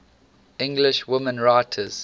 english women writers